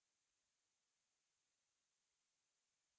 हमने अपना पहला note बना लिया